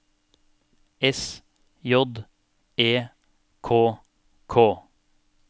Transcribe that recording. S J E K K